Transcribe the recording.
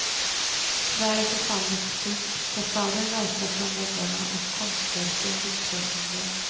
Tyvärr är förfallet stort, fasaden rasar från väggarna och konstverken vittrar sönder.